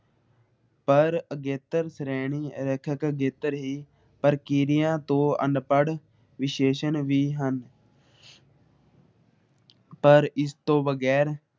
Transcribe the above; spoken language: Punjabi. ਪਰ ਅਗੇਤਰ ਸ਼੍ਰੇਣੀ ਅਗੇਤਰ ਹੀ ਪ੍ਰਕਿਰਿਆ ਤੋਂ ਅਨਪੜ ਵਿਸ਼ੇਸ਼ਣ ਹੀ ਹਨ । ਪਰ ਇਸਤੋਂ ਬਗੈਰ